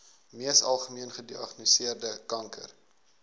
mees algemeengediagnoseerde kanker